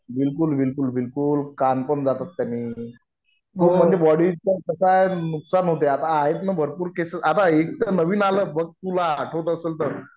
बिलकुल बिलकुल बिलकुल कान पण जातात त्याने बॉडी चे तर नुकसान होते आता आहेत ना भरपूर केसेस सद्ध्या एकतर नवीन आलं बघ तुला आठवत असेल तर